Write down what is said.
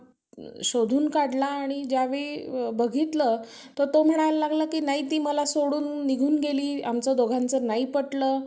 हम्म